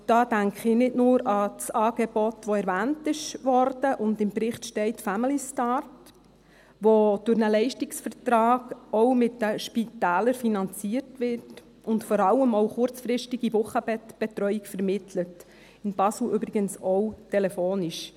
Da denke ich nicht nur an das Angebot, das erwähnt wurde und im Bericht steht, «Familystart», das durch einen Leistungsvertrag, auch mit den Spitälern, finanziert wird und vor allem auch kurzfristige Wochenbettbetreuung vermittelt, in Basel übrigens auch telefonisch.